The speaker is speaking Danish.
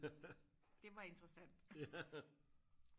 det var interessant